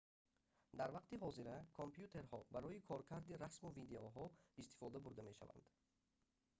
дар вақти ҳозира компютерҳо барои коркарди расму видеоҳо истифода бурда мешаванд